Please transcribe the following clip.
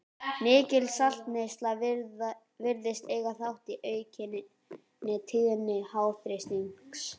Mikil saltneysla virðist eiga þátt í aukinni tíðni háþrýstings.